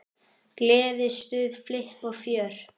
Gleði, stuð, flipp og fjör.